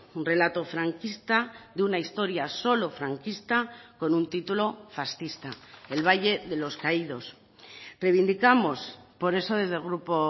un relato franquista de una historia solo franquista con un título fascista el valle de los caídos revindicamos por eso desde el grupo